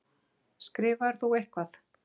Skrifaðir þú eitthvað?